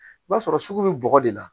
I b'a sɔrɔ sugu be bɔgɔ de la